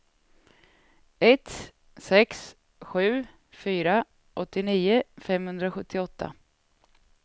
ett sex sju fyra åttionio femhundrasjuttioåtta